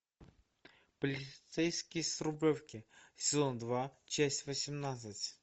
полицейский с рублевки сезон два часть восемнадцать